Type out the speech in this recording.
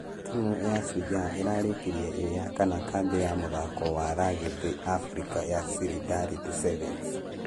Timũ ya shujaa ĩrarekirie ĩĩ ya kana kambĩ ya mũthako wa rugby africa ya silidarity 7s.